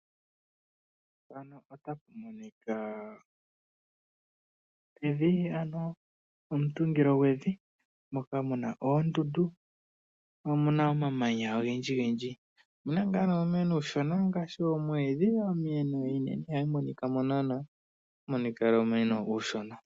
Mpano otamu monika evi ano omutungilo gwevi moka muna oondundu mo omu na omamanya ogendjigendji, omu na ngaa uumeno uushona ngaashi oomwiidhi , omiye ihadhi monika mo naana ohamu monika owala uumeno uushona.